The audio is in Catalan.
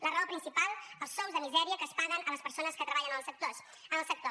la raó principal els sous de misèria que es paguen a les persones que treballen en el sector